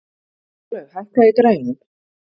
Snjólaug, hækkaðu í græjunum.